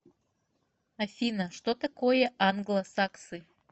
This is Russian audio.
афина что такое англосаксы